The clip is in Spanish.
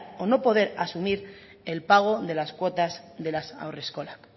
o no poder asumir el pago de las cuotas de las haurreskolak